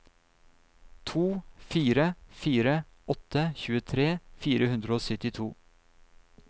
to fire fire åtte tjuetre fire hundre og syttito